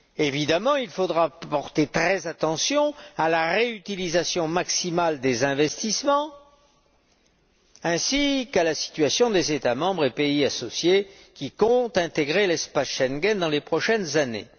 Évidemment, il faudra faire très attention à la réutilisation maximale des investissements ainsi qu'à la situation des États membres et pays associés qui comptent intégrer l'espace Schengen dans les prochaines années.